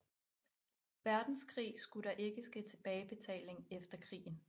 Verdenskrig skulle der ikke ske tilbagebetaling efter krigen